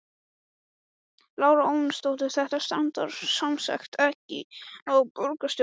Lára Ómarsdóttir: Þetta strandar semsagt ekki á borgarstjórn?